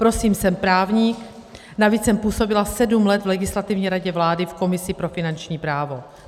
Prosím, jsem právník, navíc jsem působila sedm let v Legislativní radě vlády v komisi pro finanční právo.